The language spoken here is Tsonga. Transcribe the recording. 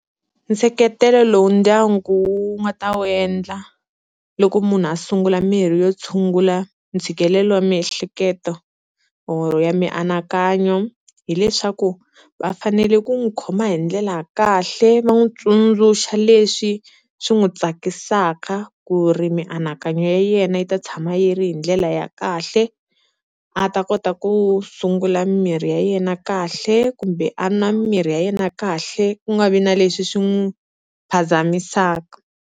Nseketelo lowu ndyangu wu nga ta wu endla loko munhu a sungula mirhi yo tshungula ntshikelelo wa miehleketo or ya mianakanyo, hileswaku va fanele ku n'wi khoma hi ndlela ya kahle va n'wi tsundzuxa leswi swi n'wi tsakisaka ku ri mianakanyo ya yena yi ta tshama yi ri hi ndlela ya kahle, a ta kota ku sungula mimirhi ya yena kahle kumbe a nwa mimirhi ya yena kahle ku nga vi na leswi swi n'wi phazamisaka.